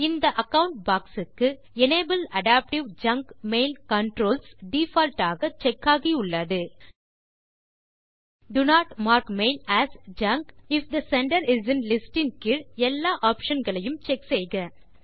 இந்த account box க்கு enable adaptive junk mail controls default ஆக செக் ஆகியுள்ளது do not mark mail as junk if the sender is in list இன் கீழ் எல்லா ஆப்ஷன் களையும் செக் செய்க